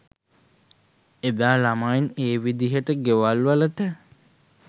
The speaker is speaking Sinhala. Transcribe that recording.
එදා ළමයි ඒ විදිහට ගෙවල්වලට